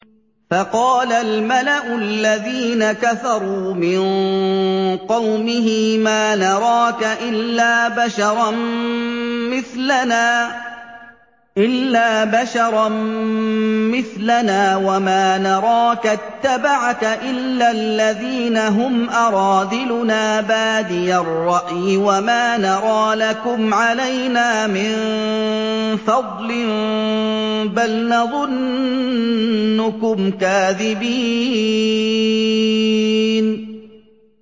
فَقَالَ الْمَلَأُ الَّذِينَ كَفَرُوا مِن قَوْمِهِ مَا نَرَاكَ إِلَّا بَشَرًا مِّثْلَنَا وَمَا نَرَاكَ اتَّبَعَكَ إِلَّا الَّذِينَ هُمْ أَرَاذِلُنَا بَادِيَ الرَّأْيِ وَمَا نَرَىٰ لَكُمْ عَلَيْنَا مِن فَضْلٍ بَلْ نَظُنُّكُمْ كَاذِبِينَ